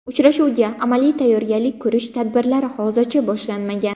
Uchrashuvga amaliy tayyorgarlik ko‘rish tadbirlari hozircha boshlanmagan.